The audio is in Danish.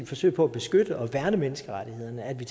forsøg på at beskytte og værne menneskerettighederne og at vi